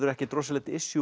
ekkert rosalegt